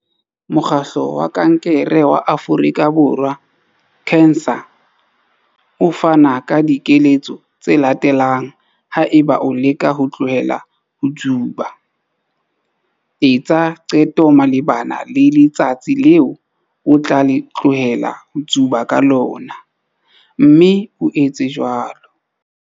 Mokgatlo wa Kankere wa Afrika Borwa, CANSA, o fana ka dikeletso tse latelang haeba o leka ho tlohela ho tsuba- Etsa qeto malebana le letsatsi leo o tla tlohela ho tsuba ka lona, mme o etse jwalo.